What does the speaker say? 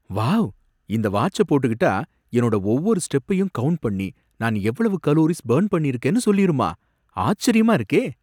Wow! இந்த வாட்ச போட்டுக்கிட்டா என்னோட ஒவ்வொரு ஸ்டெப்பையும் கவுன்ட் பண்ணி நான் எவ்வளவு கலோரிஸ் பர்ன் பண்ணிருக்கேன்னு சொல்லிருமா? ஆச்சரியமா இருக்கே!